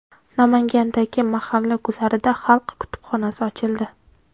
Namangandagi mahalla guzarida xalq kutubxonasi ochildi.